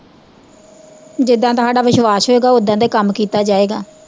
ਜਿਦਾਂ ਦਾ ਸਾਡਾ ਵਿਸ਼ਵਾਸ਼ ਹੋਏਗਾ, ਓਦਾ ਦਾ ਈ ਕੰਮ ਕੀਤਾ ਜਾਏਗਾ